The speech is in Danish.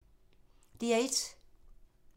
DR1